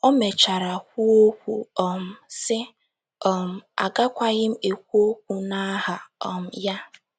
O mechara kwuokwa um, sị: um “ Agakwaghị m ekwu okwu n’aha um ya. ”